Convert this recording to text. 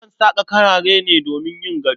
Akan saƙa karare ne domin yin gado.